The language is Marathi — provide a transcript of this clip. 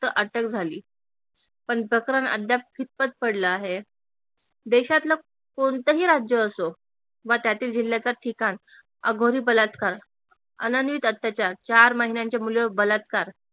अटक झाली पण प्रकरण अद्याप खितपत पडल आहे. देशातल कोणतही राज्य असो व त्यातील जिल्ह्याच ठिकाण अघोरी बलात्कार अत्याचार चार महिन्याच्या मुलीवर बलात्कार